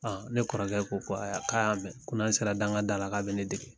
ne kɔrɔkɛ ko ko a y'a k'a y'a mɛ, ko n'an sera daŋa da la, k'a bɛ ne dege.